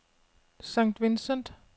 St. Vincent